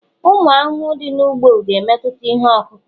ụmụ ahụhụ dị n'ugbo, ga-emetụta ihe ọkụkụ